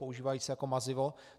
Používají se jako mazivo.